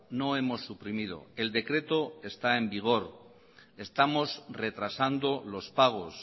no hemos suprimido el decreto está en vigor estamos retrasando los pagos